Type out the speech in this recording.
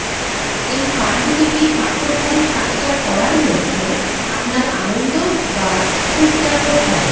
এই পাণ্ডুলিপি পাঠোদ্ধারের কাজটা করার মধ্যে আপনার আনন্দ বা সুখটা কোথায়